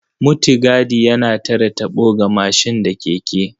Mutigadi yana tare taɓo ga mashin da keke.